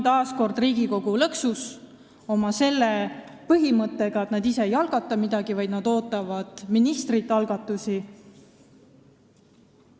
Taas kord on Riigikogu lõksus oma selle põhimõtte pärast, et me ise ei algata midagi, vaid me ootame algatusi ministrilt.